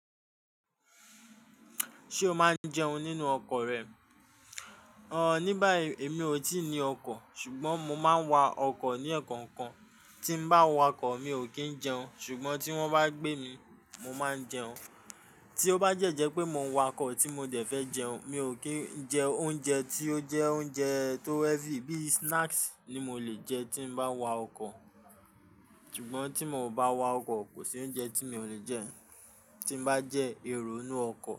Ṣé o máa ń jẹun nínú ọkọ̀ rẹ? Ò ní bái èmi ò tíì ní ọkọ̀, ṣùgbọ́n mo máa ń wa ọkọ̀ ní ẹ̀kọ̀ọ̀kan. Tí mo bá wa ọkọ̀, mi ò kí ń jẹun ṣùgbọ́n tí wọ́n bá gbé mi, mo máa ń jẹun. Tí ó bá dẹ́ jẹ́ pé mo ń wa ọkọ̀ tí mo dẹ̀ fẹ́ jẹun, mi ò kí jẹ oúnjẹ tí ó jẹ́ oúnjẹ tó heavy, bíi snacks ni mo lè jẹ tí mo bá wa ọkọ̀. Ṣùgbọ́n tí mo ò bá wa ọkọ̀, kò sí oúnjẹ tí mi ò lè jẹ tí mo bá jẹ́ èrò inú ọkọ̀